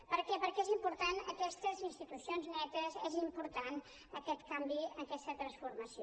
per què perquè són importants aquestes institucions netes és important aquest canvi aquesta transformació